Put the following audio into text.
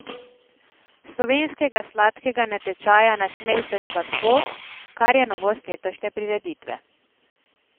Slovenskega sladkega natečaja Nasmej se sladko, kar je novost letošnje prireditve.